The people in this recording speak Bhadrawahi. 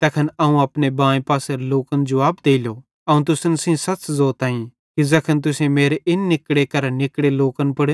तैखन अवं अपने बाएं पासेरे लोकन जुवाब देलो अवं तुसन सेइं सच़ ज़ोताईं कि ज़ैखन तुसेईं मेरे इन निकड़े करां निकड़े लोकन पुड़